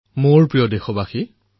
মোৰ মৰমৰ দেশবাসীসকল